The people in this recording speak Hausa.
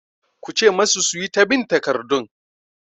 Ku ce masu su yi ɗab'in takardun!